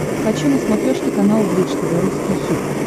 хочу на смотрешке канал бридж тв русский хит